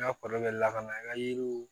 N ka kɔrɔ bɛ lakana i ka yiriw